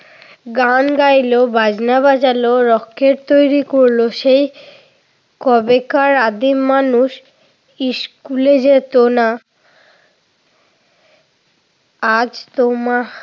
গান গাইল, বাজনা বাজাল, রকেট তৈরি করল, সেই কবেকার আদিম মানুষ স্কুলে যেত না আজ তোমাহ